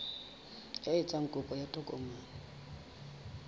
ya etsang kopo ya tokomane